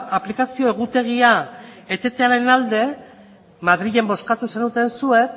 aplikazio egutegia etetearen alde madrilen bozkatu zenuten zuek